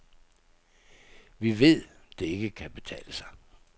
Vi ved, det ikke kan betale sig.